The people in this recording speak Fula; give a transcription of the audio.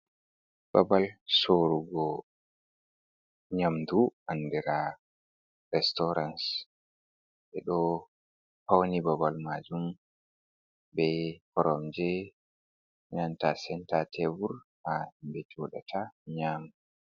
Babal soorugo nyamdu andira restarans. Ɓe do pawni babal maajum be koromje, senta tebur ha ɓe joɗata nyaama.